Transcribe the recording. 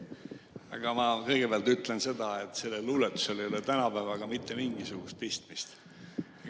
Aga ma kõigepealt ütlen seda, et sellel luuletusel ei ole tänapäevaga mitte mingisugust pistmist.